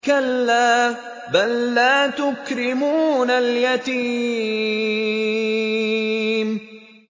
كَلَّا ۖ بَل لَّا تُكْرِمُونَ الْيَتِيمَ